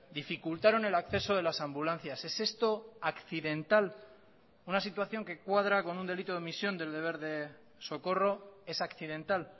dificultaron el acceso de las ambulancias es esto accidental una situación que cuadra con un delito de omisión del deber de socorro es accidental